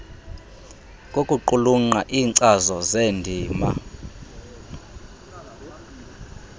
kokuqulunqa iinkcazo zeendima